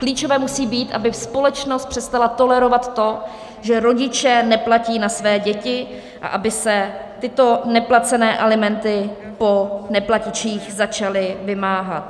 Klíčové musí být, aby společnost přestala tolerovat to, že rodiče neplatí na své děti a aby se tyto neplacené alimenty po neplatičích začaly vymáhat.